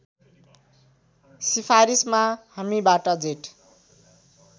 सिफारिसमा हामीबाट जेठ